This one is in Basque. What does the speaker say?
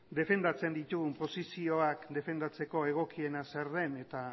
defendatzen ditugun posizioak defendatzeko egokiena zer den eta